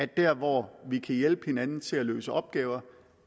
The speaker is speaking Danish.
der hvor vi kan hjælpe hinanden til at løse opgaver